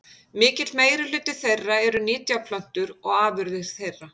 Mikill meirihluti þeirra eru nytjaplöntur og afurðir þeirra.